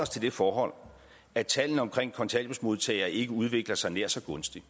til det forhold at tallene omkring kontanthjælpsmodtagere ikke udvikler sig nær så gunstigt